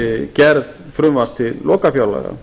gerð frumvarps til lokafjárlaga